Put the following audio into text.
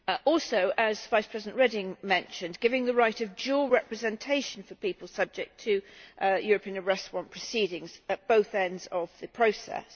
Also, as Vice President Reding mentioned, it gives the right of dual representation to people subject to European Arrest Warrant proceedings at both ends of the process.